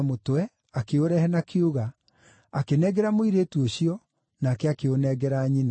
akĩũrehe na kiuga, akĩnengera mũirĩtu ũcio, nake akĩũnengera nyina.